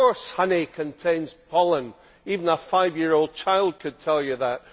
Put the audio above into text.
Of course, honey contains pollen even a five year old child could tell you that.